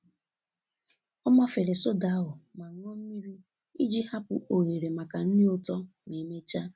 Ọ mafere soda ahụ ma ṅụọ mmiri iji hapụ ohere maka nri ụtọ ma emechaa.